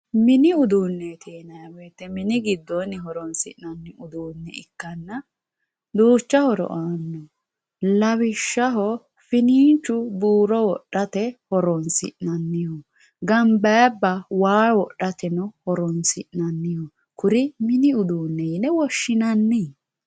Minni udunetti yinayi woyite mini giddonni horonsinanni udune ikanna Ducha horo ano lawishaho fininchu buro wodhate horonsinaniho ganbayibba waa wodhateno horonsinaniho kuri minni udune yine woshinanni